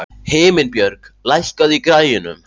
Himinbjörg, lækkaðu í græjunum.